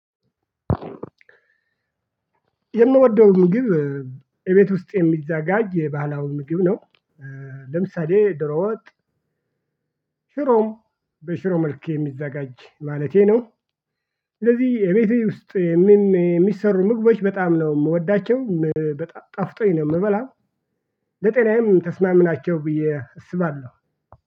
የምወደው ምግብ እቤት ውስጥ የሚዘጋጅ ባህላዊ ምግብ ነው። ለምሳሌ ዶሮ ወጥ ሽሮም በሽሮ መልክ የሚዘጋጅ ማለቴ ነው። ስለዚህ እቤቴ ውስጥ ምንም የሚሰሩ ምግቦች በጣም ነው የምወዳቸው በጣም ጣፍጦኝ ነው የምበላው። ለጤናዬም ተስማሚናቸው ብዬ እሰባለሁ።